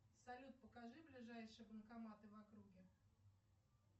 салют покажи ближайшие банкоматы в округе